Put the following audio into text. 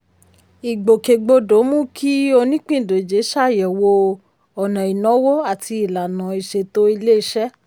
ìgbòkègbodò mú kí onípìndòjé ṣàyẹ̀wò ọ̀nà ìnáwó àti ìlànà ìṣètò ilé-iṣẹ́.